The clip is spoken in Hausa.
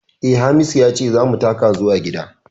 Eh, Hamisu ya ce za mu taka zuwa gida